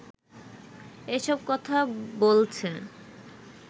এসব কথা বলছে